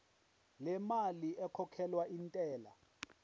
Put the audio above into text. lemali ekhokhelwa intela